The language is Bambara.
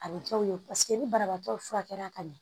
A bɛ kɛ u ye ni banabaatɔ furakɛli ka ɲɛ